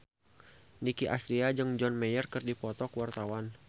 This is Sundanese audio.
Nicky Astria jeung John Mayer keur dipoto ku wartawan